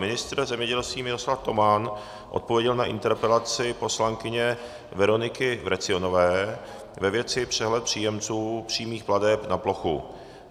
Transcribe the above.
Ministr zemědělství Miroslav Toman odpověděl na interpelaci poslankyně Veroniky Vrecionové ve věci přehled příjemců přímých plateb na plochu.